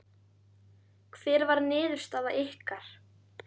Hver var niðurstaða ykkar?